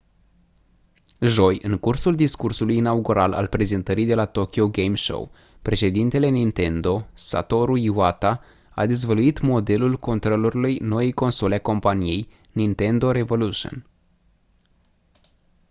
joi în cursul discursului inaugural al prezentării de la tokyo game show președintele nintendo satoru iwata a dezvăluit modelul controlerului noii console a companiei nintendo revolution